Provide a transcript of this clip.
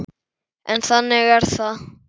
En þannig er það.